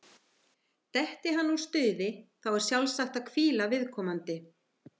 Detti hann úr stuði, þá er sjálfsagt að hvíla viðkomandi.